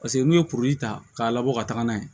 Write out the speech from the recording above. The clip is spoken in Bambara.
Paseke n'u ye kuru ta k'a labɔ ka taga n'a ye